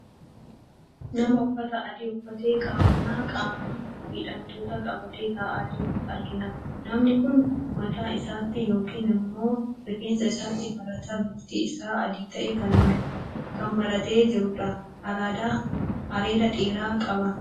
Nama uffata adii uffatee, qabannaa qaama miidhamtoota qabatee, taa'aa jiru argina. Namni kun mataa isaatti yookiin immoo rifeensa isaatti marata bifti isaa adii ta'e kan maratee jirudha. Areeda dheeraa qaba.